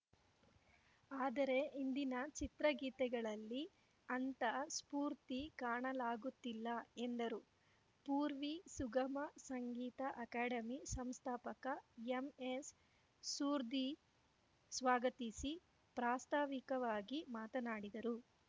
ಆದರೆ ಇಂದಿನ ಚಿತ್ರಗೀತೆಗಳಲ್ಲಿ ಅಂಥ ಸ್ಫೂರ್ತಿ ಕಾಣಲಾಗುತ್ತಿಲ್ಲ ಎಂದರು ಪೂರ್ವಿ ಸುಗಮ ಸಂಗೀತ ಅಕಾಡೆಮಿ ಸಂಸ್ಥಾಪಕ ಎಂಎಸ್‌ ಸುರ್ಧೀ ಸ್ವಾಗತಿಸಿ ಪ್ರಾಸ್ತಾವಿಕವಾಗಿ ಮಾತನಾಡಿದರು